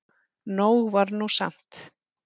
Nóg var nú samt.